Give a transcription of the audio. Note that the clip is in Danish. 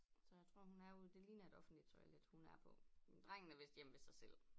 Så jeg tror hun er ude det ligner et offentligt toilet hun er på men drengen er vist hjemme ved sig selv